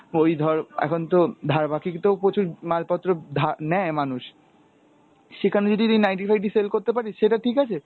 ওই ধর এখন তো ধার বাকিতেও প্রচুর মালপত্র ধা নেয় মানুষ, সেখানে যদি তুই নাইটি ফাইটি sellকরতে পারিস সেটা ঠিক আছে